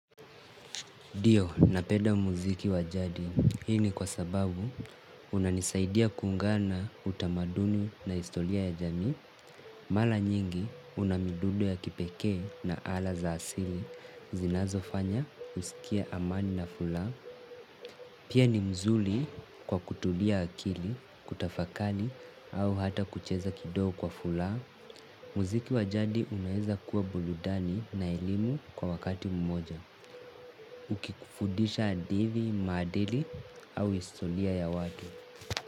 Dio, na peda muziki wajadi, hii ni kwa sababu unanisaidia kuungana utamaduni na histolia ya jamii, mala nyingi unamidudo ya kipeke na ala za asili, zinazo fanya kusikia amani na fula, pia ni mzuli kwa kutulia akili, kutafakali au hata kucheza kidogo kwa fulaha. Muziki wajandi unaeza kuwa buludani na elimu kwa wakati mmoja. Ukikufudisha hadithi maadili au histolia ya watu.